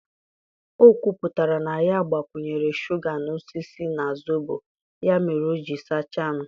O kwuputara na ya gbakwunyere shuga n'osisi na zobo, ya mere o ji sachaa m.